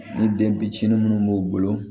Ni den fitini minnu b'u bolo